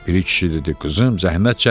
Piri kişi dedi: "Qızım, zəhmət çəkmə."